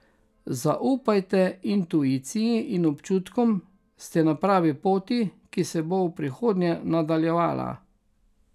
Zaupajte intuiciji in občutkom, ste na pravi poti, ki se bo v prihodnje nadaljevala.